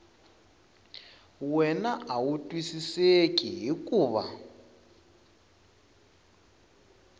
wana a wu twisiseki hikuva